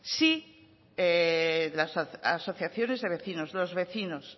sin las asociaciones de vecinos los vecinos